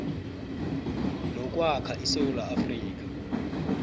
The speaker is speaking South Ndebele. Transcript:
nokwakha isewula afrika